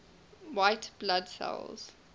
white blood cells